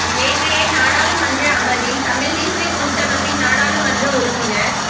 நேற்றைய நாடாளுமன்ற அமர்வில் தமிழ் தேசிய கூட்டமைப்பின் நாடாளுமன்ற உறுப்பினர்